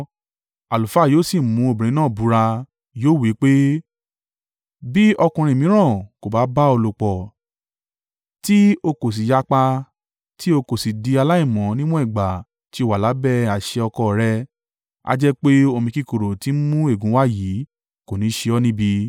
Àlùfáà yóò sì mú obìnrin náà búra, yóò wí pé, “Bí ọkùnrin mìíràn kò bá bá ọ lòpọ̀, tí ó kò sì yapa, tí o kò sì di aláìmọ́ níwọ̀n ìgbà tí ó wà lábẹ́ àṣẹ ọkọ rẹ̀, a jẹ́ pé omi kíkorò tí ń mú ègún wá yìí kò ní ṣe ọ́ níbi.